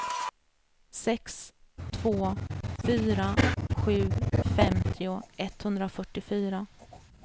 sex två fyra sju femtio etthundrafyrtiofyra